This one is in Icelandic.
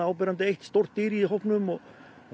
áberandi stórt dýr í hópnum og